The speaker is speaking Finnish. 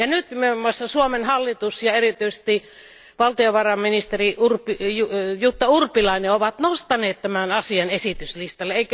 Nyt muun muassa Suomen hallitus ja erityisesti valtiovarainministeri Jutta Urpilainen ovat nostaneet tämän asian esityslistalle.